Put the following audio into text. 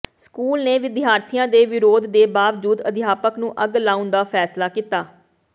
school ਨੇ ਵਿਦਿਆਰਥੀਆਂ ਦੇ ਵਿਰੋਧ ਦੇ ਬਾਵਜੂਦ ਅਧਿਆਪਕ ਨੂੰ ਅੱਗ ਲਾਉਣ ਦਾ ਫੈਸਲਾ ਕੀਤਾ